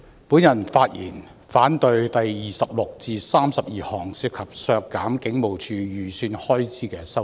主席，我發言反對第26項至第32項涉及削減香港警務處預算開支的修正案。